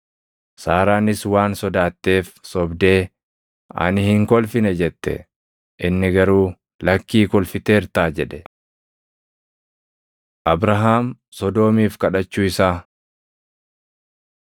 Saaraanis waan sodaatteef sobdee, “Ani hin kolfine” jette. Inni garuu, “Lakkii kolfiteertaa” jedhe. Abrahaam Sodoomiif Kadhachuu Isaa